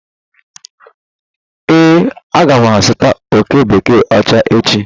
Ee, aga m azụta oké bekee ocha echi.